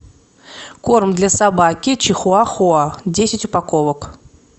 корм для собаки чихуахуа десять упаковок